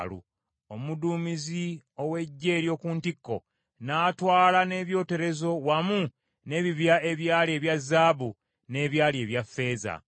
Omuduumizi ow’eggye ery’oku ntikko n’atwala n’ebyoterezo wamu n’ebibya ebyali ebya zaabu n’ebyali ebya ffeeza.